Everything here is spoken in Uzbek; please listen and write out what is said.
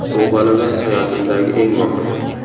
Bu g‘alaba hayotimdagi eng muhimi.